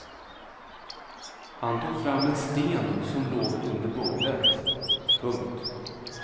Han tog fram en sten som låg under bordet. punkt